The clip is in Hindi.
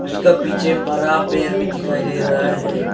उसका पीछे में बड़ा पेड़ भी दिखाई दे रहा है।